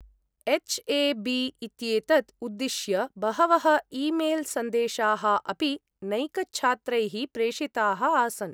H A B इत्येतत् उद्दिश्य बहवः ईमेल् सन्देशाः अपि नैकछात्रैः प्रेषिताः आसन्।